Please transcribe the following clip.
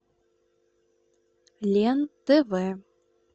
лен тв